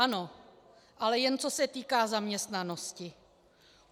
Ano, ale jen co se týká zaměstnanosti.